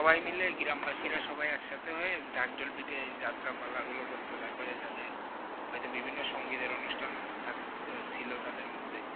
সবাই গ্রাম বাসিরা সবাই এক সাথে হয়ে ঢাক ঢোল পিটিয়ে যাত্রাপালা গুলো করতো তারপরে তাদের হয়তো বিভিন্ন সঙ্গিদের অনুষ্ঠান ছিল তাদের মধ্যে।